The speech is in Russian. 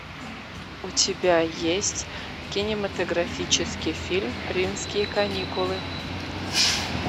у тебя есть кинематографический фильм римские каникулы